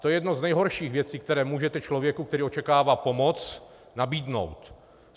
To je jedna z nejhorších věcí, kterou můžete člověku, který očekává pomoc, nabídnout.